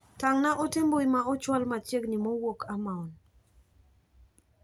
Tang'na ote mbui ma ochwal machiegni mowuok Amaon.